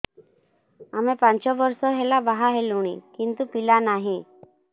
ଆମେ ପାଞ୍ଚ ବର୍ଷ ହେଲା ବାହା ହେଲୁଣି କିନ୍ତୁ ପିଲା ନାହିଁ